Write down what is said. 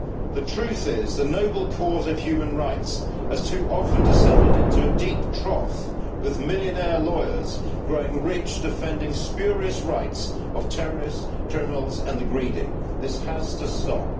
The truth is the noble cause of human rights has too often descended into a deep trough, with millionaire lawyers growing rich defending the spurious rights of terrorists, criminals and the greedy. This has to stop.